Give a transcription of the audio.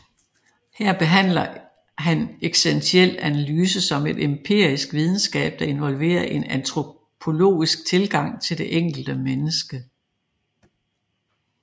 Her behandler han eksistentiel analyse som en empirisk videnskab der involverer en antropologisk tilgang til det enkelte menneske